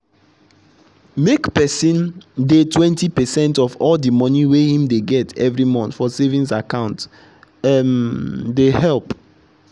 make person dey 20 percent of all the money wey him dey get every month for savings account um they help.